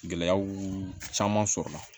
Gɛlɛyaw caman sɔrɔla